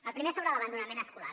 la primera sobre l’abandonament escolar